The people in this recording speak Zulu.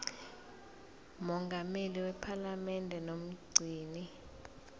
mongameli wephalamende nomgcini